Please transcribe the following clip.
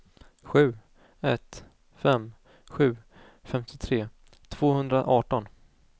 sju ett fem sju femtiotre tvåhundraarton